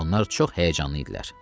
Onlar çox həyəcanlı idilər.